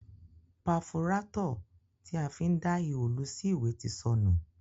Pafurátọ̀ ti a fi ń dá ihò lu sí ìwé ti sọnù.